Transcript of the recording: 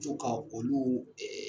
Co ka olu